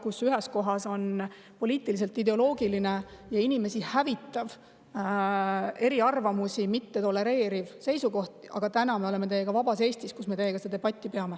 oli poliitiline, inimesi hävitav ja eriarvamusi mitte tolereeriv ideoloogia, aga täna me oleme teiega vabas Eestis, kus me teiega debatti peame.